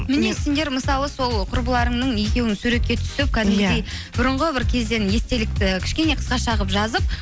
міне сендер мысалы сол құрбыларыңның екеуің суретке түсіп кәдімгідей бұрынғы бір кезден естелікті кішкене қысқаша қылып жазып